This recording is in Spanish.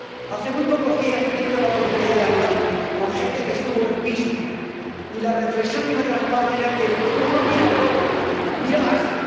Hace muy pocos días he tenido la oportunidad de hablar con gente que estuvo en Pittsburgh, y la reflexión que me trasladaban era que el mundo no mira a Europa, mira a Asia.